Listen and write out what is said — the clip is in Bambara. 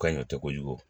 Ka ɲi te kojugu